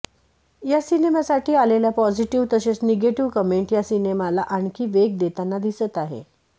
या सिनेमासाठी आलेल्या पॉजिटीव तसेच निगेटीव कमेंट या सिनेमाला आणखी वेग देताना दिसत आहे